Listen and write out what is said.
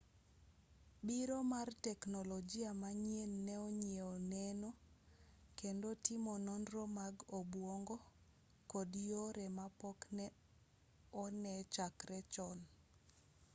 biro mar teknolojia manyien ne oyienwa neno kendo timo nonro mag obuongo kod yore mapok ne one chakre chon.